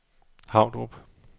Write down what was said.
Havdrup